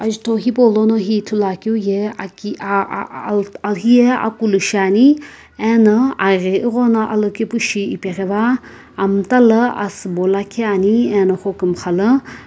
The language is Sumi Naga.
azutho hipolono hi ithulu akeu ye aki hiye akulu shiane anii arii aghono alokepu shi apeghu va ano amta lo asiibo lakhi Ani ano hogumgha.